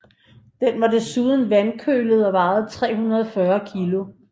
Den var desuden vandkølet og vejede 340 kg